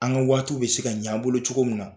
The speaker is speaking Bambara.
An ka waatiw be se ka ɲan an bolo cogo min na.